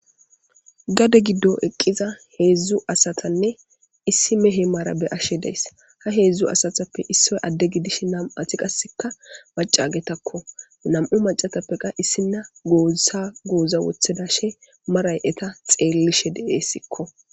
gade giddo eqqiza heedzdzu asatanne issi mehe maarabe ashe dees ha heedzdzu asatappe issoy adde gidish nam7ati qasseka macagetakko nam7u macatappeqa issinna goosa gooza wothida she maray eta xeellishe deeessikko